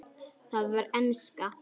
Það var enska.